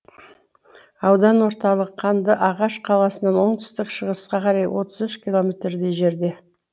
аудан орталық қандыағаш қаласынан оңтүстік шығысқа қарай отыз үш километрдей жерде